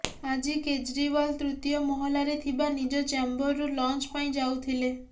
ଆଜି କେଜ୍ରିୱାଲ ତୃତୀୟ ମହଲାରେ ଥିବା ନିଜ ଚ୍ୟାମ୍ବରରୁ ଲଞ୍ଚ ପାଇଁ ଯାଉଥିଲେ